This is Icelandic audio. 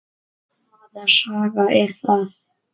Hvaða saga er það?